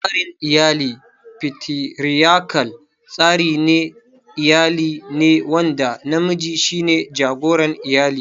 Tsarin iyalin Fatiriyakal, tsarin iyali ne wanda namiji shi ne jagoran iyali.